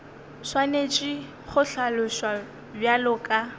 swanetše go hlaloswa bjalo ka